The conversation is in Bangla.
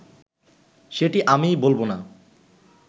সেটি আমি বলবো না